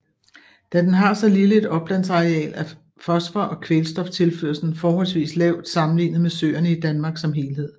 Da den har så lille et oplandsareal er fosfor og kvælstoftilførslen forholdsvist lavt sammenlignet med søerne i Danmark som helhed